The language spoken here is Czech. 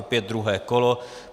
Opět druhé kolo.